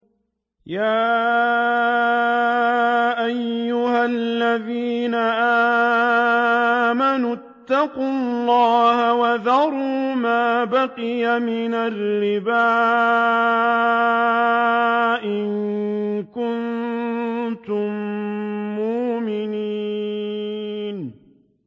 يَا أَيُّهَا الَّذِينَ آمَنُوا اتَّقُوا اللَّهَ وَذَرُوا مَا بَقِيَ مِنَ الرِّبَا إِن كُنتُم مُّؤْمِنِينَ